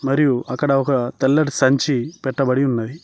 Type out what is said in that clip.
మరియు అక్కడ ఒక తెల్లటి సంచి పెట్టబడి ఉన్నది.